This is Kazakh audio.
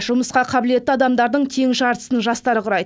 жұмысқа қабілетті адамдардың тең жартысын жастар құрайды